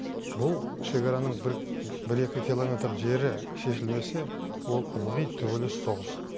бұл шекараның бір бір екі километр жері шешілмесе ол ылғи төбелес соғыс